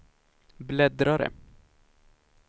bläddrare